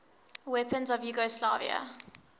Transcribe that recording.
weapons of yugoslavia